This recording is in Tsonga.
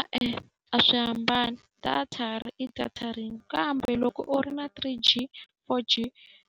E-e, a swi hambani, data i data rin'we. Kambe loko u ri na three G, four G,